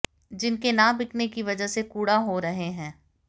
जिनके ना बिकने की वजह से कूड़ा हो रहे हैं